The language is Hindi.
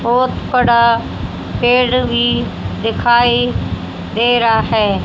बहोत बड़ा पेड़ भी दिखाई दे रहा है।